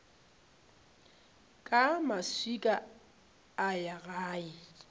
ka maswika a ya gae